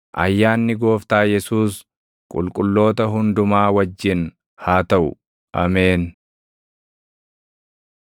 Ayyaanni Gooftaa Yesuus qulqulloota hundumaa wajjin haa taʼu. Ameen.